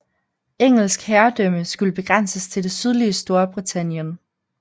Engelsk herredømme skulle begrænses til det sydlige Storbritannien